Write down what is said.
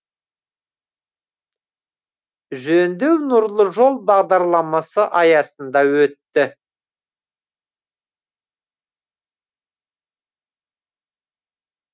жөндеу нұрлы жол бағдарламасы аясында өтті